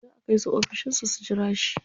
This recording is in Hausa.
Za a kai su ofishin sa su jira shi.